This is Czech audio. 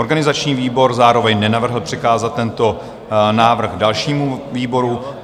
Organizační výbor zároveň nenavrhl přikázat tento návrh dalšímu výboru.